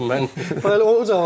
Elə o cavabın.